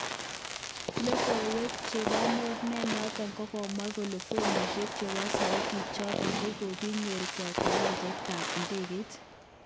Logoiwek chebo mornet noton kokamwa kole fomishek chebo soutik choton kokokiyokto kwo kiwanjet tab idegeit.